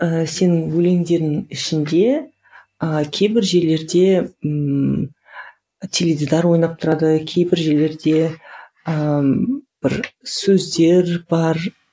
ыыы сенің өлеңдеріңнің ішінде ы кейбір жерлерде ммм теледидар ойнап тұрады кейбір жерлерде ыыы бір сөздер бар